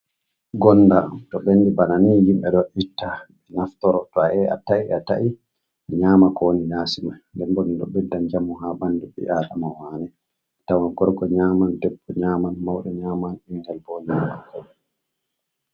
Gonnda to ɓenndi bana ni himɓe ɗo itta ɓe naftoro, to a yahi a ta'i a ta’i a nyama ko woni yasi man nden boo ɗo ɓedda njamu haa ɓanndu ɓi aadama waane. Tawan korko nyaman, debbo nyaman, mawɓe nyaman, ɓinngel boo nyaman.